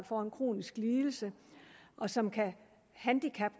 får en kronisk lidelse som kan